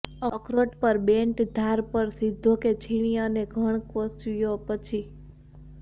અખરોટ પર બેન્ટ ધાર પર સીધો કે છીણી અને ધણ કોસીયો પછી